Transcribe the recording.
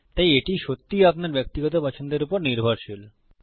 তাই এটা সত্যিই আপনার ব্যক্তিগত পছন্দের উপর নির্ভরশীল